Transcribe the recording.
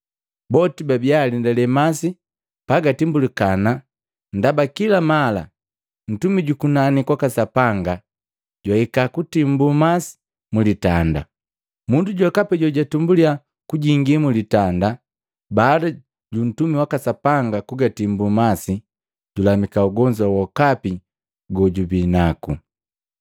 Boti babiya alendale masi gatimbulikana ndaba kila mala mtumi juku nani kwaka Sapanga jwahika kutimbu masi mlitanda. Mundu jokapi jojabi jwa kwanza kujingi mlitanda baada juntumi waka Sapanga kugatimbu masi, julamika ugonzu wokapi gojubinaku. + 5:4 Nsitali gongo ngasegupatikana mumahandiku ga mwandi.